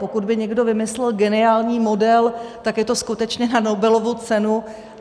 Pokud by někdo vymyslel geniální model, tak je to skutečně na Nobelovu cenu.